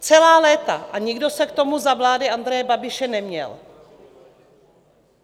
Celá léta a nikdo se k tomu za vlády Andreje Babiše neměl.